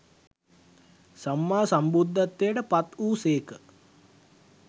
සම්මා සම්බුද්ධත්වයට පත් වූ සේක.